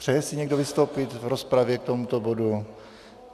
Přeje si někdo vystoupit v rozpravě k tomuto bodu?